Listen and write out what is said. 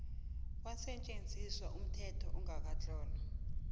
kwasetjenziswa umthetho ongakatlolwa